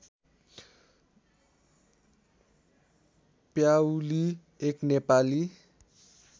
प्याउली एक नेपाली